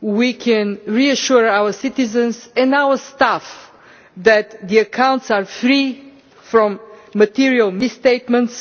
we can reassure our citizens and our staff that the accounts are free from material mis statements.